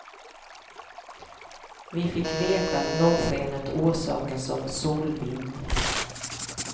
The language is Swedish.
Vi fick veta att norrskenet orsakas av solvind.